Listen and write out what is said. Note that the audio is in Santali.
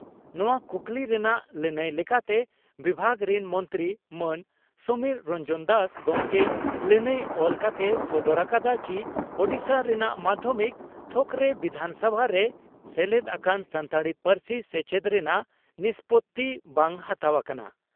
ᱱᱚᱣᱟ ᱠᱩᱠᱞᱤ ᱨᱮᱱᱟᱜ ᱞᱟᱹᱱᱟᱹᱭ ᱞᱮᱠᱟᱛᱮ ᱵᱤᱵᱷᱟᱜᱽ ᱨᱤᱱ ᱢᱚᱱᱛᱨᱤ ᱢᱟᱱ ᱥᱚᱢᱤᱨ ᱨᱚᱱᱡᱚᱱ ᱫᱟᱥ ᱜᱚᱢᱠᱮ ᱞᱟᱹᱱᱟᱹᱭ ᱚᱞ ᱠᱟᱛᱮᱭ ᱥᱚᱫᱚᱨ ᱟᱠᱟᱫᱟ ᱪᱤ ᱳᱰᱤᱥᱟ ᱨᱮᱱᱟᱜ ᱢᱟᱫᱷᱭᱚᱢᱤᱠ ᱛᱷᱚᱠᱨᱮ ᱥᱚᱢᱵᱤᱫᱷᱟᱱ ᱨᱮ ᱥᱮᱞᱮᱫ ᱟᱠᱟᱱ ᱥᱟᱱᱛᱟᱲᱤ ᱯᱟᱹᱨᱥᱤ ᱥᱮᱪᱮᱫ ᱨᱮᱱᱟᱜ ᱱᱤᱥᱯᱳᱛᱤ ᱵᱟᱝ ᱦᱟᱛᱟᱣ ᱟᱠᱟᱱᱟ ᱾